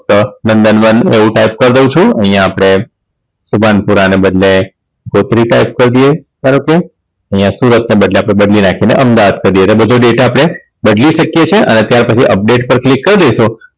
નંદનવન એવું type કરી દવ છું અહીંયા આપણે શુભાનપુરા ને બદલે ગોત્રી type કરી દઈએ ધારો કે હિય સુરતને બદલે આપણે બદલી નાખી ને અમદાવાદ કરી દઈએ એટલે બધો data આપણે બદલી શકીએ છે અને ત્યાર પછી Update પર Click કરી દઈશું